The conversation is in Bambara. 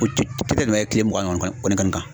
O te tɛmɛ kile mugan kɔni kɔni kan.